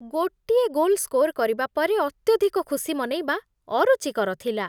ଗୋଟିଏ goal score କରିବା ପରେ ଅତ୍ୟଧିକ ଖୁସି ମନେଇବା ଅରୁଚିକର ଥିଲା।